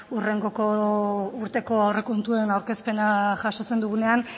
hurrengoko urteko aurrekontuen aurkezpena jasotzen dugunean